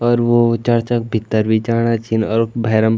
अर वो चर्च क भित्तर भी जाणा छिन और उख भैरम --